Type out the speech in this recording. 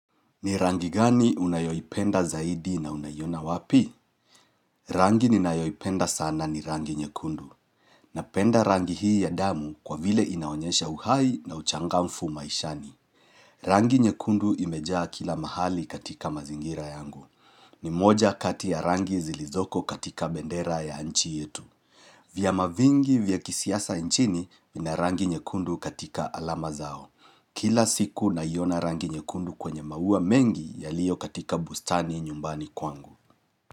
Ni rangi gani unayoipenda zaidi na unaiona wapi? Rangi ninayoipenda sana ni rangi nyekundu. Napenda rangi hii ya damu kwa vile inaonyesha uhai na uchangamfu maishani. Rangi nyekundu imejaa kila mahali katika mazingira yangu. Ni moja kati ya rangi zilizoko katika bendera ya nchi yetu. Vyama vingi vya kisiasa nchini, vina rangi nyekundu katika alama zao. Kila siku naiona rangi nyekundu kwenye maua mengi yaliyo katika bustani nyumbani kwangu.